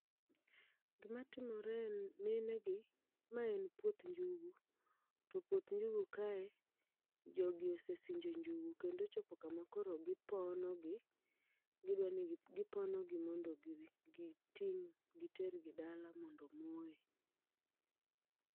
Gima timore en mine gi, ma en puoth njugu. To puoth njugu kae, jogi ose sinjo njugu kendo ochopo kama koro gipono gi, gidwani giponogi mondo giting' gitergi dala mondo omoye.